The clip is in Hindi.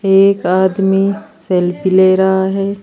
एक आदमी सेल्फी ले रहा है।